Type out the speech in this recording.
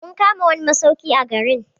Mun kama wani masauki a garin.